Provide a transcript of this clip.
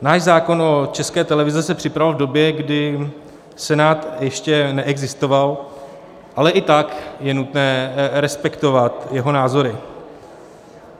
Náš zákon o České televizi se připravoval v době, kdy Senát ještě neexistoval, ale i tak je nutné respektovat jeho názory.